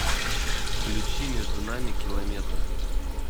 включи между нами километры